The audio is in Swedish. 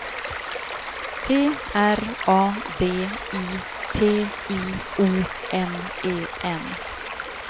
T R A D I T I O N E N